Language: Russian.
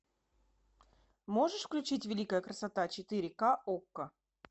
можешь включить великая красота четыре к окко